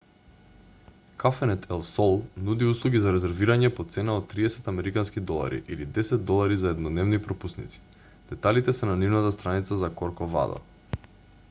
кафенет ел сол нуди услуги за резервирање по цена од 30 американски долари или 10 долари за еднодневни пропусници деталите се на нивната страница за корковадо